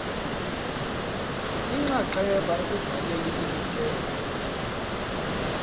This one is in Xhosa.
inxaxheba ekubhaleni imithetho